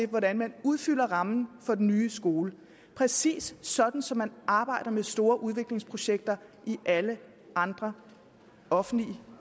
hvordan man udfylder rammen for den nye skole præcis sådan som man arbejder med store udviklingsprojekter i alle andre offentlige